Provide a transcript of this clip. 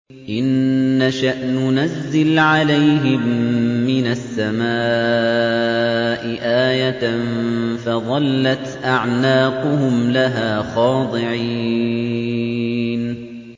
إِن نَّشَأْ نُنَزِّلْ عَلَيْهِم مِّنَ السَّمَاءِ آيَةً فَظَلَّتْ أَعْنَاقُهُمْ لَهَا خَاضِعِينَ